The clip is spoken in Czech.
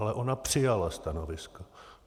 Ale ona přijala stanovisko.